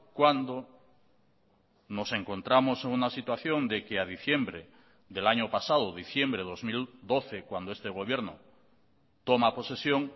cuando nos encontramos en una situación de que a diciembre del año pasado diciembre de dos mil doce cuando este gobierno toma posesión